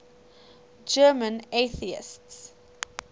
german atheists